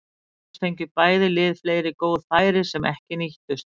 Auk þess fengu bæði lið fleiri góð færi sem ekki nýttust.